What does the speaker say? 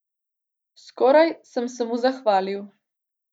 Skoraj sem se mu zahvalil.